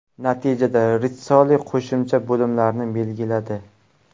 Natijada Ritssoli qo‘shimcha bo‘limlarni belgiladi.